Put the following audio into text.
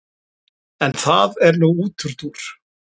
en það er nú útúrdúr